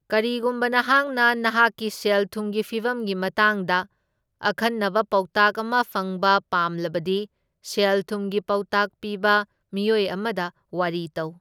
ꯀꯔꯤꯒꯨꯝꯕ ꯅꯍꯥꯛꯅ ꯅꯍꯥꯛꯀꯤ ꯁꯦꯜ ꯊꯨꯝꯒꯤ ꯐꯤꯚꯝꯒꯤ ꯃꯇꯥꯡꯗ ꯑꯈꯟꯅꯕ ꯄꯥꯎꯇꯥꯛ ꯑꯃ ꯐꯪꯕ ꯄꯥꯝꯂꯕꯗꯤ, ꯁꯦꯜ ꯊꯨꯝꯒꯤ ꯄꯥꯎꯇꯥꯛ ꯄꯤꯕ ꯃꯤꯑꯣꯏ ꯑꯃꯗ ꯋꯥꯔꯤ ꯇꯧ꯫